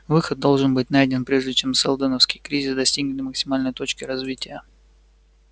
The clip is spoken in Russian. выход должен быть найден прежде чем сэлдоновский кризис достигнет максимальной точки развития